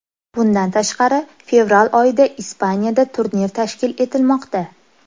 Bundan tashqari, fevral oyida Ispaniyada turnir tashkil etilmoqda.